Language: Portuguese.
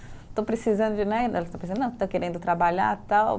Estou precisando de, né, querendo trabalhar, tal.